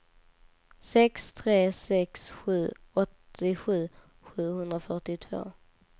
sex tre sex sju åttiosju sjuhundrafyrtiotvå